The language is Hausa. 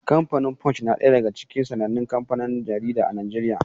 Kamfanin Punch na ɗaya daga cikin sanannen kanfanin jarida a Najeriya.